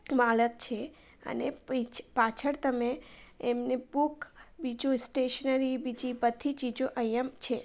માલક છે અને પીછે પાછણ તમે એમને પુખ બીજું સ્ટેશનરી બધી ચીજુ અહિયાં છે.